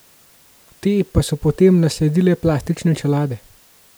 Te pa so potem nasledile plastične čelade.